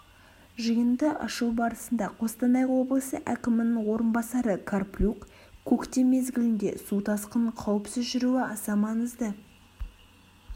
жиынды ашу барысында қостанай облысы әкімінің орынбасары карплюк көктем мезгілінде су тасқынының қауіпсіз жүруі аса маңызды